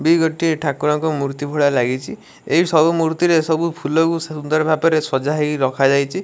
ଗୋଟିଏ ଠାକୁରଙ୍କ ମୂର୍ତ୍ତି ଭଳିଆ ଲାଗିଚି ଏଇଟ୍ ସବୁ ମୂର୍ତ୍ତିରେ ସବୁ ଫୁଲକୁ ସୁନ୍ଦର ଭାବରେ ସଜାହେଇ ରଖାଯାଇଚି ।